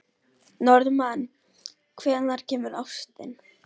Norðmann, hvenær kemur ásinn?